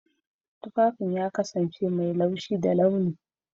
Tufafin ya kasance mai laushi da launi.